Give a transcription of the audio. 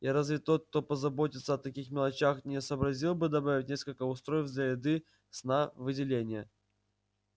и разве тот кто позаботился о таких мелочах не сообразил бы добавить несколько устройств для еды сна выделения